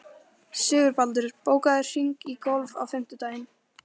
Sigurbaldur, bókaðu hring í golf á fimmtudaginn.